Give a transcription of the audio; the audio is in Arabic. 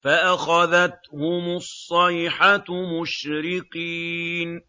فَأَخَذَتْهُمُ الصَّيْحَةُ مُشْرِقِينَ